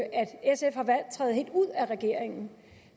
træde helt ud af regeringen